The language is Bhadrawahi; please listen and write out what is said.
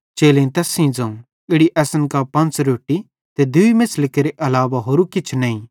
चेलेईं तैस सेइं ज़ोवं इड़ी असन कां पंच़ रोट्टी ते दूई मेछ़ली केरे अलावा होरू किछ नईं